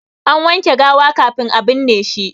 An wanke gawa kafin a binne shi.